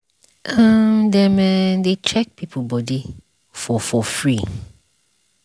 outreach wey dem do for village eh um dem um dey check people body um for for free.